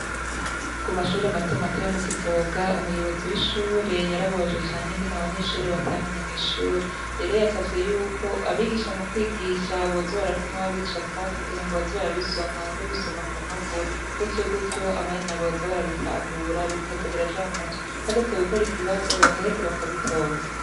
Kumashure matomato yo mukivoga umuyobozi w'ishure yarababajwe cane n'ingene abanyeshure batamenye mw'ishure. Yari yasavye yuko abigisha mukwigisha boza barapfuma babicapa kugirango baze barabisoma babisoma nkumpapuro gutyogutyo abana boza barabitahura bikaza biraja mumutwe hageze gukora ikibazo bagaheza bakabitora.